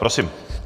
Prosím.